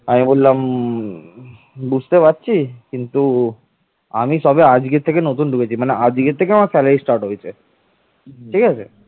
কিন্তু এ অঞ্চলগুলো পরবর্তীতে তিনি মিহির ভোজমিহির ভোজের কাছে হারিয়ে ফেলেন